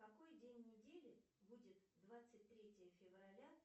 какой день недели будет двадцать третье февраля